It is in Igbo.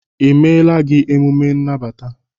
emela gị omume n' nagbata?